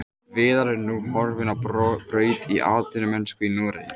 Viðar er nú horfinn á braut í atvinnumennsku í Noregi.